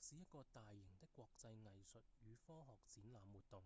是一個大型的國際藝術與科學展覽活動